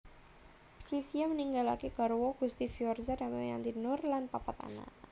Chrisye ninggalaké garwa Gusti Firoza Damayanti Noor lan papat anak